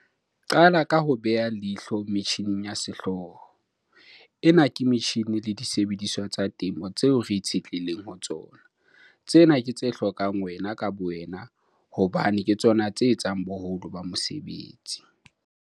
Qala ka ho beha leihlo metjhineng ya sehlooho. Ena ke metjhine le disebediswa tsa temo tseo re itshetlehileng ho tsona. Tsena ke tse hlokang wena ka bowena hobane ke tsona tse etsang boholo ba mosebetsi.